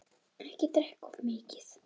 Ekki drekka of mikið.